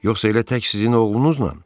Yoxsa elə tək sizin oğlunuzla?